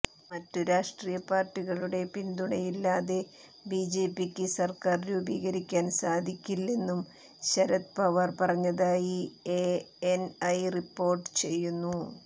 മറ്റ് രാഷ്ട്രീയ പാർട്ടികളുടെ പിന്തുണയില്ലാതെ ബിജെപിക്ക് സർക്കാർ രൂപീകരിക്കാൻ സാധിക്കില്ലെന്നും ശരത് പവാർ പറഞ്ഞതായി എഎൻഐ റിപ്പോർട്ട് ചെയ്യുന്നു